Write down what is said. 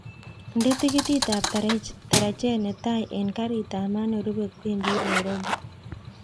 Nde tikitit ab tarajet netai en karit ab maat nerube kwendi nairobi